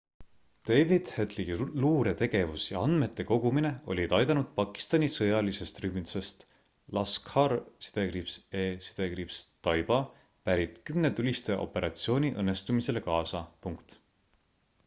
david headley luuretegevus ja andmete kogumine olid aidanud pakistani sõjalisest rühmitusest laskhar-e-taiba pärit 10 tulistaja operatsiooni õnnestumisele kaasa